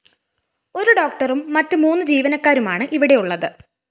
ഒരു ഡോക്ടറും മറ്റ് മൂന്ന് ജീവനക്കാരുമാണ് ഇവിടെ ഉള്ളത്